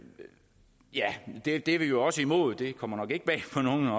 det er vi også imod det kommer nok ikke bag på nogen